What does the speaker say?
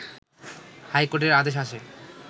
high কোর্টের আদেশ আসে